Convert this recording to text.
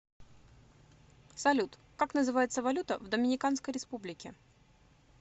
салют как называется валюта в доминиканской республике